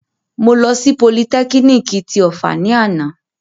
Mo lọ sí politẹ́kínìkì ti Ọ̀fà ni àná